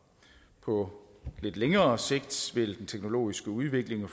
på lidt længere sigt vil den teknologiske udvikling